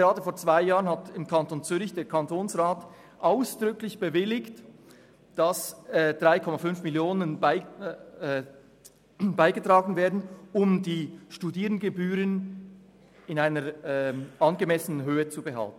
Gerade vor zwei Jahren hat der Zürcher Kantonsrat ausdrücklich bewilligt, dass 3,5 Mio. Franken beigesteuert werden, um die Studiengebühren in einer angemessenen Höhe zu halten.